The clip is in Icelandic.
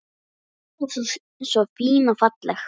Alltaf svo fín og falleg.